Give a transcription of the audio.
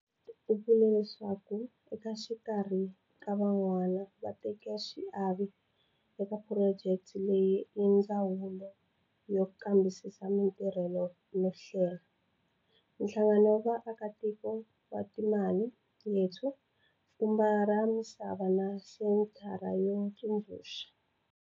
U vule leswaku exikarhi ka van'wana vatekaxiave eka phurojeke leyi i Ndzawulo yo Kambisisa Matirhelo no Hlelanhlangano wa vaakatiko wa Imali Yethu Pfhumba ra Misa va na Senthara yo Tsundzuxa